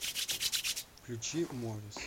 включи морис